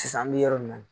Sisan an bɛ yɔrɔ min na